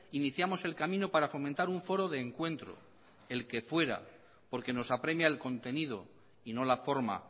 iniciamos el camino para fomentar un foro de encuentro el que fuera porque nos apremia el contenido y no la forma